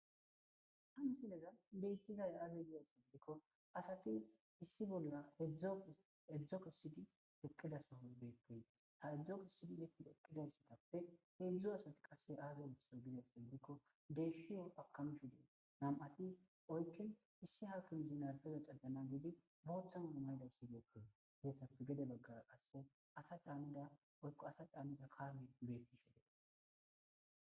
Hayssa ta be'ashe dizayssi woykko misileza bolla taasi beetizay aaze gizayssa giddiko woykko xeelishin dizayssi daro asati issippe eqqidayssinne dumma dumma lo'iza miishati qoncce gididdi beetish dizayssanne daro gidida miththa puuteti betees.